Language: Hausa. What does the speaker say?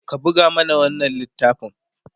ka buga mana wannan littafin!